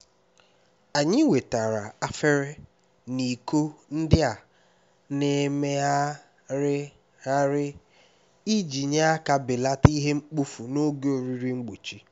anyị wetara efere na iko ndị a na-emegharịgharị iji nyere aka belata ihe mkpofu n'oge oriri mgbochi